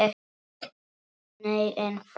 Nei, en þú?